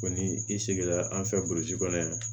Ko ni i sigira an fɛ kɔnɔ yan